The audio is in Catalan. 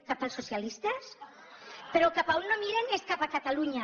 cap als socialistes però cap a on no miren és cap a catalunya